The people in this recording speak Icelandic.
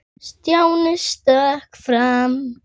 Munu fáir eftir leika.